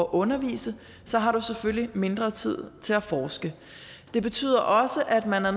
undervise selvfølgelig mindre tid til at forske det betyder også at man er